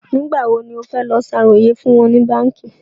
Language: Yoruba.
Nígbà wo ní ó fẹ́ lọ ṣàròyè fún wọn ní báànkì?